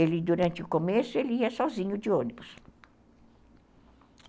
Ele, durante o começo, ele ia sozinho de ônibus.